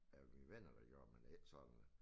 Af mine venner der gjorde men det ikke sådan